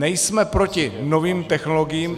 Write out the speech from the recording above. Nejsme proti novým technologiím.